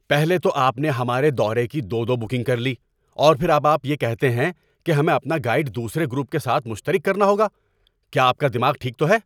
پہلے تو آپ نے ہمارے دورے کی دو دو بکنگ کر لی اور پھر اب آپ یہ کہتے ہیں کہ ہمیں اپنا گائیڈ دوسرے گروپ کے ساتھ مشترک رکھنا ہوگا۔ کیا آپ کا دماغ ٹھیک تو ہے؟